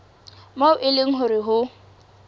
moo e leng hore ho